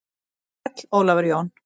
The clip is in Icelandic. Sæll Ólafur Jón.